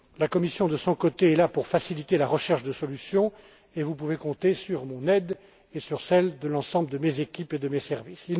crédible. La Commission, de son côté, est là pour faciliter la recherche de solutions, et vous pouvez compter sur mon aide et sur celle de l'ensemble de mes équipes et de mes